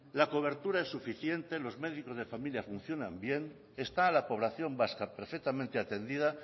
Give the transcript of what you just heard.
la cobertura es suficiente los médicos de familia funcionan bien está la población vasca perfectamente atendida